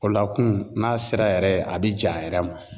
O lakun n'a sera yɛrɛ a bi ja a yɛrɛ ma.